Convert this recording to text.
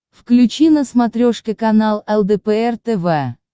включи на смотрешке канал лдпр тв